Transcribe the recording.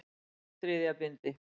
Þriðja bindi.